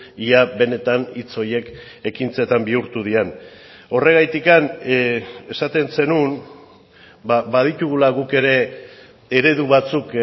ia benetan hitz horiek ekintzetan bihurtu diren horregatik esaten zenuen baditugula guk ere eredu batzuk